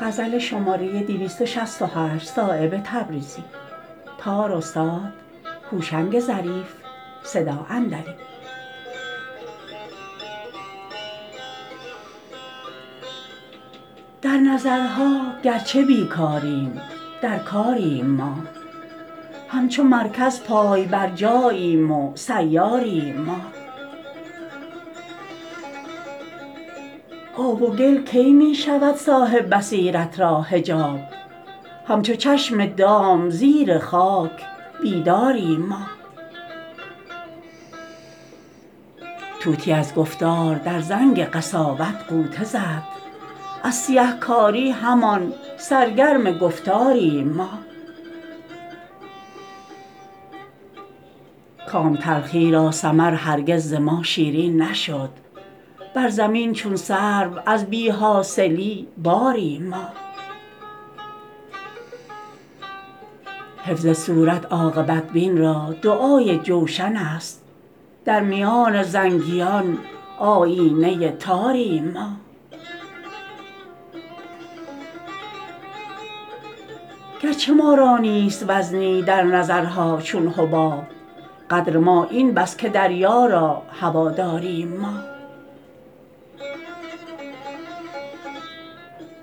در نظرها گرچه بیکاریم در کاریم ما همچو مرکز پای برجاییم و سیاریم ما آب و گل کی می شود صاحب بصیرت را حجاب همچو چشم دام زیر خاک بیداریم ما طوطی از گفتار در زنگ قساوت غوطه زد از سیه کاری همان سرگرم گفتاریم ما کام تلخی را ثمر هرگز ز ما شیرین نشد بر زمین چون سرو از بی حاصلی باریم ما حفظ صورت عاقبت بین را دعای جوشن است در میان زنگیان آیینه تاریم ما گرچه ما را نیست وزنی در نظرها چون حباب قدر ما این بس که دریا را هواداریم ما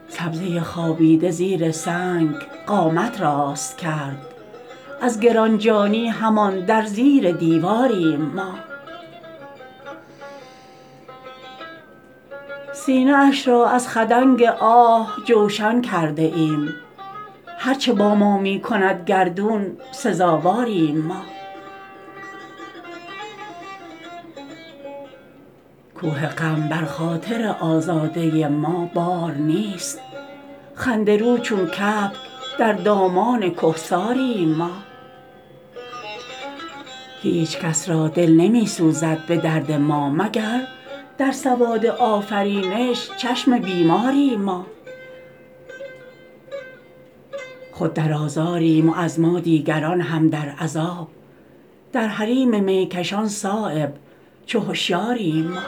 سبزه خوابیده زیر سنگ قامت راست کرد از گرانجانی همان در زیر دیواریم ما سینه اش را از خدنگ آه جوشن کرده ایم هر چه با ما می کند گردون سزاواریم ما کوه غم بر خاطر آزاده ما بار نیست خنده رو چون کبک در دامان کهساریم ما هیچ کس را دل نمی سوزد به درد ما مگر در سواد آفرینش چشم بیماریم ما خود درآزاریم و از ما دیگران هم در عذاب در حریم میکشان صایب چو هشیاریم ما